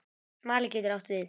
Smali getur átt við